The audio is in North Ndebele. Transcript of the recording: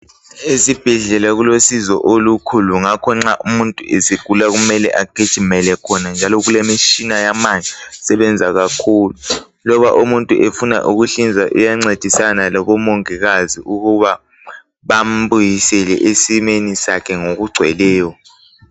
eZibhedlela kulosizo olukhulu ngakho nxa umuntu esegula kumele agijimele khona njalo kulemitshina yamanje sebenza kakhulu loba umuntu efuna ukuhlinza iyancedisana labo Mongikazi ukuba bambuyisele esimeni sakhe ngokugcweleyo.